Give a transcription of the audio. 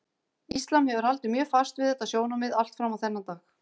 Íslam hefur haldið mjög fast við þetta sjónarmið allt fram á þennan dag.